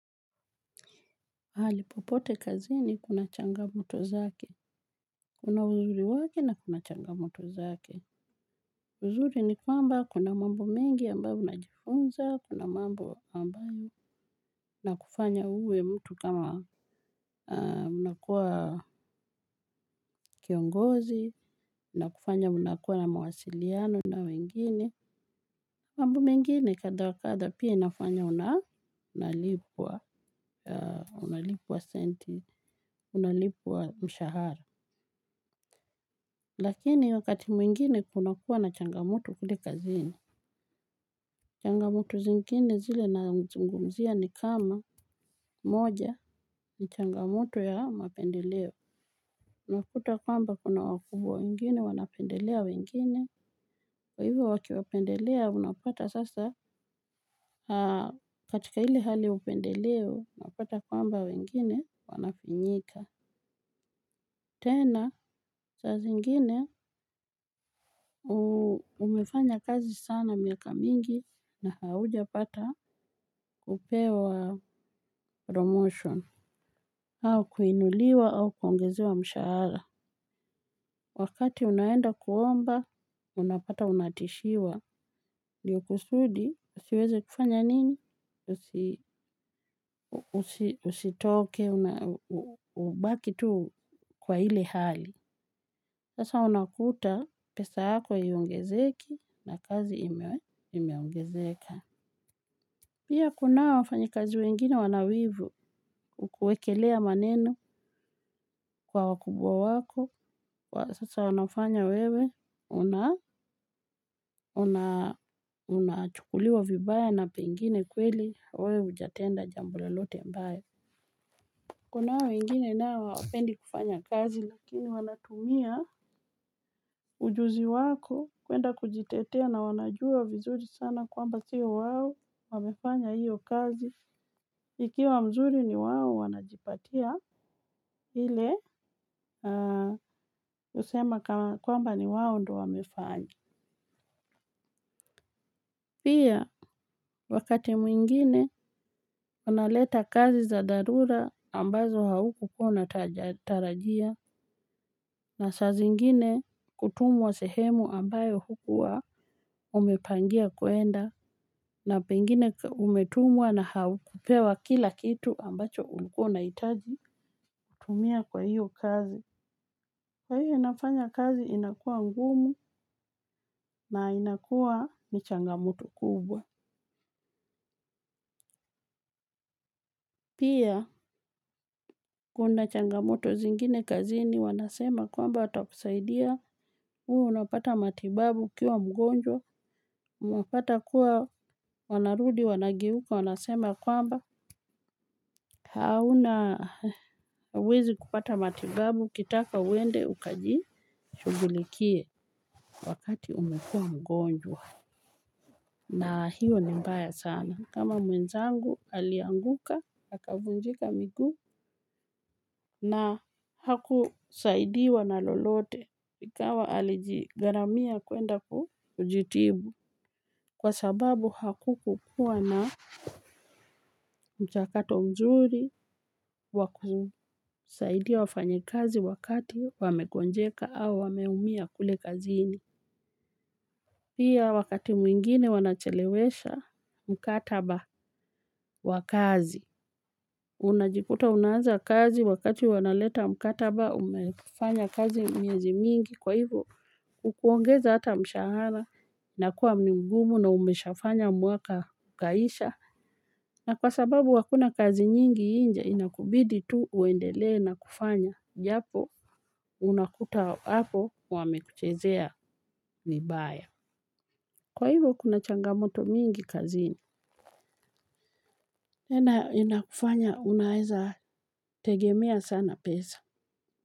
Mahali popote kazini kuna changamoto zake. Kuna uzuri wake na kuna changamoto zake. Uzuri ni kwamba kuna mambo mingi ambayo unajifunza, kuna mambo ambayo na kufanya uwe mtu kama unakuwa kiongozi, na kufanya unakuwa na mawasiliano na wengine. Mambo mengine kadha wa kadha pia inafanya una unalipwa senti, unalipwa mshahara. Lakini wakati mwingine kunakuwa na changamoto kule kazini. Changamoto zingine zile nazungumzia ni kama moja ni changamoto ya mapendeleo. Unakuta kwamba kuna wakubwa wengine, wanapendelea wengine. Kwa hivyo wakiwapendelea, unapata sasa katika ile hali ya upendeleo, unapata kwamba wengine wanafinyika. Tena, saa zingine, umefanya kazi sana miaka mingi na haujapata kupewa promotion. Au kuinuliwa au kuongezewa mshahara. Wakati unaenda kuomba, unapata unatishiwa. Ndiyo kusudi, usiweze kufanya nini? Usitoke, ubaki tu kwa ile hali. Sasa unakuta pesa yako haiongezeki na kazi imeongezeka. Pia kuna hawa wafanyakazi wengine wana wivu kukuekelea maneno kwa wakubwa wako. Sasa wanafanya wewe una unachukuliwa vibaya na pengine kweli. Wewe hujatenda jambo lolote mbaya. Kuna wengine nao hawapendi kufanya kazi lakini wanatumia ujuzi wako kuenda kujitetea na wanajua vizuri sana kwamba sio wao wamefanya hiyo kazi ikiwa mzuri ni wao wanajipatia ile usema kwamba ni wao ndo wamefanyo. Pia wakati mwingine wanaleta kazi za dharura ambazo haukukuwa utarajia. Na saa zingine kutumwa sehemu ambayo hukuwaa umepangia kuenda. Na pengine umetumwa na haukupewa kila kitu ambacho ulikuwa unahitaji kutumia kwa hiyo kazi. Kwa hiyo inafanya kazi inakua ngumu na inakua ni changamoto kubwa. Pia, kuna changamoto zingine kazini, wanasema kwamba watakusaidia, huwa unapata matibabu ukiwa mgonjwa, unapata kuwa wanarudi, wanageuka, wanasema kwamba, hauna hauwezi kupata matibabu, ukitaka uende, ukajishugulikie, wakati umekua mgonjwa. Na hiyo ni mbaya sana kama mwenzangu alianguka akavunjika miguu. Na hakusaidiwa na lolote. Nikawa alijigharamia kuenda kujitibu. Kwa sababu hakukukuwa na mchakato mzuri wa kusaidiwa wafanyikazi wakati wamegonjeka au wameumia kule kaziini. Pia wakati mwingine wanachelewesha mkataba wa kazi. Unajikuta unaanza kazi wakati wanaleta mkataba umefanya kazi miezi mingi kwa hivyo kukuongeza hata mshahara na kuwa ni gumu na umeshafanya mwaka ukaisha. Na kwa sababu hakuna kazi nyingi nje inakubidi tu uendele na kufanya japo unakuta hapo wamekuchezea ni baya. Kwa hivyo kuna changamoto mingi kazini ina inakufanya unaeza tegemea sana pesa.